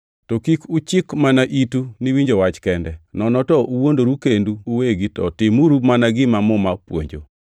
To kik uchik mana itu ni winjo wach kende, nono to uwuondoru kendu uwegi to timuru mana gima Muma puonjo.